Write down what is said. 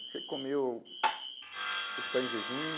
Você comeu... Você está em jejum?